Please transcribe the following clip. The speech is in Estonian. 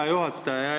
Hea juhataja!